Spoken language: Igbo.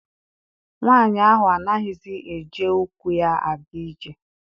Nwaanyi ahụ anaghịzi eji ukwu ya aga ije.